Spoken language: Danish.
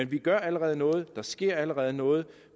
vi gør allerede noget der sker allerede noget